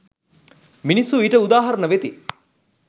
මිනිස්සු ඊට උදාහරණ වෙති.